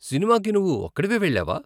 సినిమాకి నువ్వు ఒక్కడివే వెళ్ళావా?